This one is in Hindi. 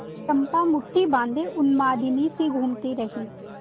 चंपा मुठ्ठी बाँधे उन्मादिनीसी घूमती रही